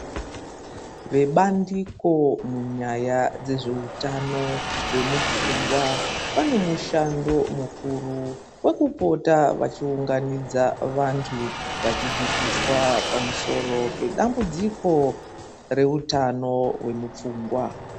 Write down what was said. Vebandiko munyaya dzezveutano vemufungwa vane mushando mukuru wekupota vachiunganidza vantu vachidzidziswa pamusoro pedambudziko reutano hwemupfungwa.